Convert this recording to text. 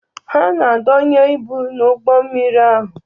Ha na-adonye ibu n'ụgbọ mmiri ahụ.